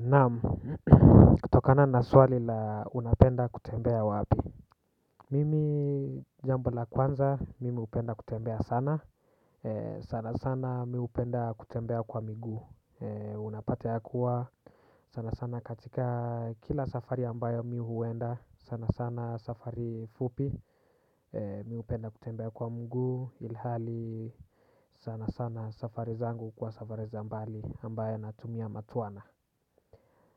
Namu kutokana na swali la unapenda kutembea wapi. Mimi jambo la kwanza mimi upenda kutembea sana sana sana mi upenda kutembea kwa migu. Unapata ya kuwa sana sana katika kila safari ambayo mi huwenda sana sana safari fupi mi upenda kutembea kwa mgu ilhali sana sana safari zangu kwa safari za mbali ambayo natumia matuana.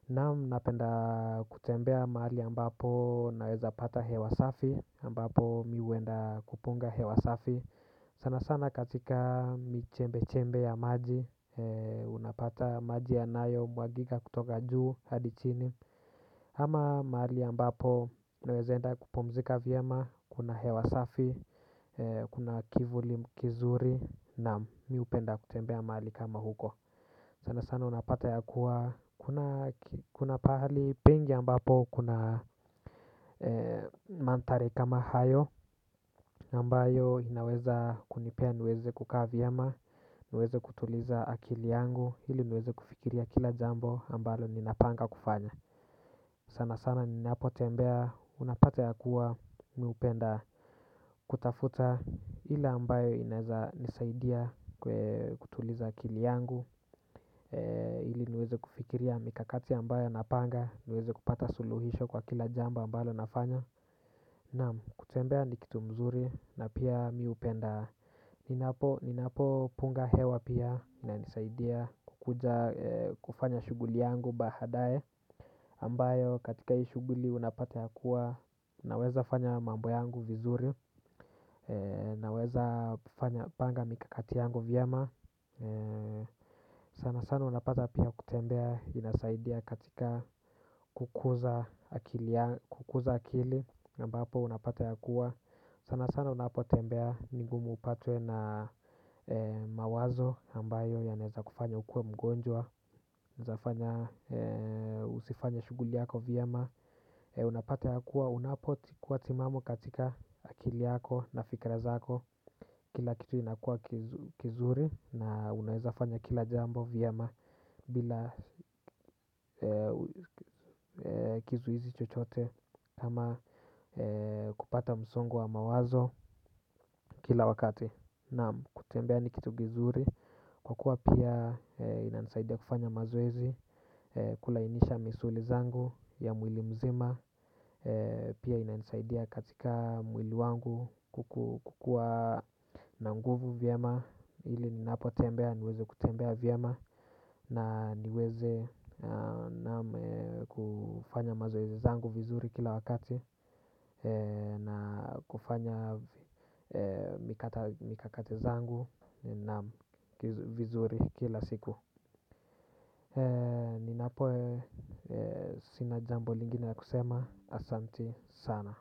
Namu napenda kutembea mahali ambapo naweza pata hewasafi ambapo miwenda kupunga hewa safi. Sana sana katika michembe chembe ya maji unapata maji yanayo mwagiga kutoka juu hadi chini. Ama mahali ambapo naweza enda kupumzika viema kuna hewa safi kuna kivuli kizuri. Namu mi hupenda kutembea mahali kama huko. Sana sana unapata ya kuwa kuna pahali pengi ambapo kuna mantare kama hayo. Nambayo inaweza kunipea niweze kukaa vyema, niweze kutuliza akili yangu, hili niweze kufikiria kila jambo ambalo ninapanga kufanya. Sana sana ninapo tembea unapata ya kuwa miupenda kutafuta hili ambayo inaweza nisaidia kutuliza akili yangu. Ili niweze kufikiria mikakati ambayo napanga. Niweze kupata suluhisho kwa kila jambo ambalo nafanya. Naam kutembea ni kitu mzuri na pia miupenda. Ninapo punga hewa pia inanisaidia kukuja kufanya shuguli yangu bahadaye ambayo katika hii shuguli unapata ya kuwa naweza fanya mambo yangu vizuri. Naweza fanya panga mikakati yangu vyema. Sana sana unapata pia kutembea inasaidia katika kukuza akili. Nambapo unapata ya kuwa sana sana unapotembea ningumu upatwe na mawazo. Nambayo yaneza kufanya ukue mgonjwa. Unaezafanya usifanye shuguli yako viyema. Unapata ya kuwa unapotikuwa timamu katika akili yako na fikra zako. Kila kitu inakua kizuri na unaweza fanya kila jambo viyema. Bila kizuhizi chochote ama kupata msongo wa mawazo kila wakati. Naam kutembea ni kitu gizuri kwa kuwa pia inanisaidia kufanya mazoezi kulainisha misuli zangu ya mwili mzima. Pia ina nisaidia katika mwili wangu kukua na nguvu viyema. Hili ninapotembea niweze kutembea vyema na niweze kufanya mazoezi zangu vizuri kila wakati. Na kufanya mikakati zangu na vizuri kila siku. Ninapo sina jambo lingine ya kusema asanti sana.